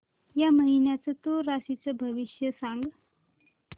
या महिन्याचं तूळ राशीचं भविष्य सांग